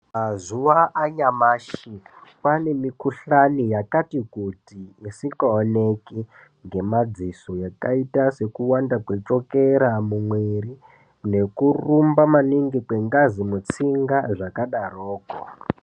Mazuva anyamashi kwane mi kuhlani yakati kuti isinga oneke ngema dziso yakaita seku wanda kwe chokera mu mwiri neku rumba maningi kwe ngazi mutsinga zvaka daroko.